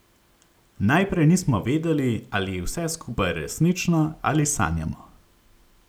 Najprej nismo vedeli, ali je vse skupaj resnično ali sanjamo.